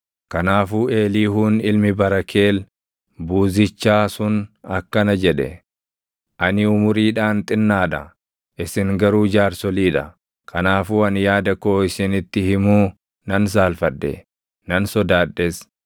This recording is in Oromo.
Kanaafuu Eliihuun ilmi Barakeel Buuzichaa sun akkana jedhe: “Ani umuriidhaan xinnaa dha; isin garuu jaarsolii dha; kanaafuu ani yaada koo isinitti himuu nan saalfadhe; nan sodaadhes.